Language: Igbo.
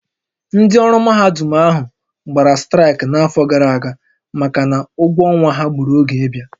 Ndị ọrụ mahadum ahụ gbara straịkị n'afọ gara aga maka na ụgwọ ọnwa ha gbùrù oge ịbịa